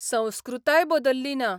संस्कृताय बदल्ली ना.